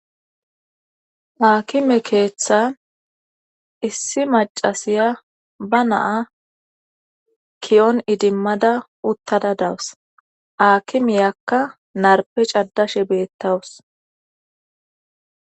Hakime keeththa issi macasiya ba naa kiyon idimmada uttada dawus akimiyakka narpe caddashe beettawus.